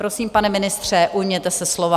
Prosím, pane ministře, ujměte se slova.